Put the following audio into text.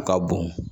A ka bon